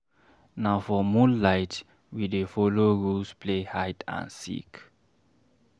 Na for moonlight, we dey folo rules play hide and seek.